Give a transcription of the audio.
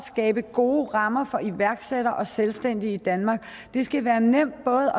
skabe gode rammer for iværksættere og selvstændige i danmark det skal være nemt både